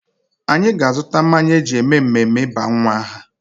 Anyị ga-azụta mmanya e ji eme mmemme ịba nwa aha.